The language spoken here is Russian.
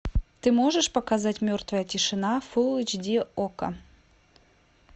ты можешь показать мертвая тишина фулл эйч ди окко